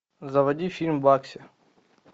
заводи фильм багси